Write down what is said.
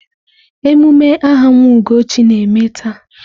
Emume aha nwa Ugochi na-eme taa.